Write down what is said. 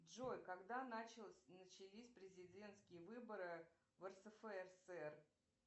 джой когда начались президентские выборы в рсфср